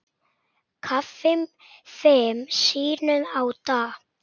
Kaffi fimm sinnum á dag.